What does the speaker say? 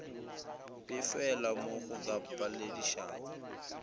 befelwa mo go ka paledišago